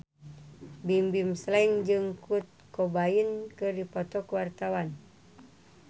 Bimbim Slank jeung Kurt Cobain keur dipoto ku wartawan